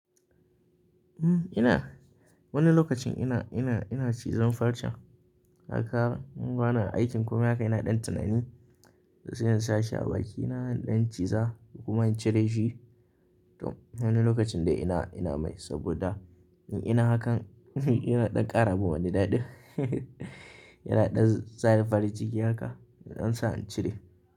Uhm, ina wani lokacin ina, ina, ina cizon farcen haka in gwanan aikin kuma haka ina ɗan tunani sai in sa shi a baki. Ina ɗan ciza kuma in cire shi, to wani lokacin dai ina, ina mai saboda in ina hakan yana ɗan ƙara mun wani daɗi. Ina ɗan sani farin ciki haka, in ɗan sa in cire.